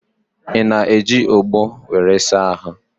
Ị na-eji ọgbọ were asa ahụ?